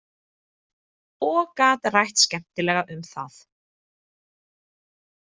Og gat rætt skemmtilega um það.